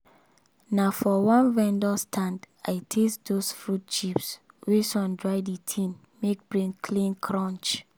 na for one vendor stand i taste those fruit chips wey sun dry the thing make brain clean crunch